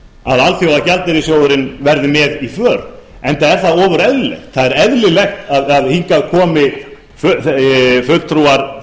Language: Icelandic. að alþjóðagjaldeyrissjóðurinn verði með í för enda er það ofur eðlilegt það er eðlilegt að hingað komi fulltrúar